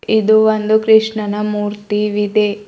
ಇದು ಒಂದು ಕೃಷ್ಣನ ಮೂರ್ತಿ ವಿದೆ.